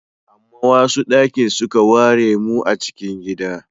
Amma wasu daki suke ware mu a cikin gida.